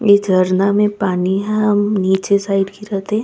इ झरना में पानी ह नीचे साइड गिरत हे।